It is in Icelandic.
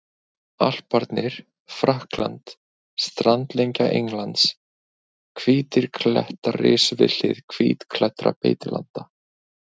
Alparnir, Frakkland, strandlengja Englands, hvítir klettar risu við hlið hvítklæddra beitilanda.